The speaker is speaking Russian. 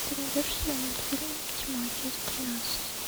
ты найдешь у себя мультфильм тьма часть тринадцатая